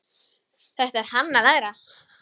Þetta er hann að læra!